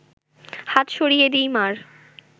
হাত সরিয়ে দিই মা’র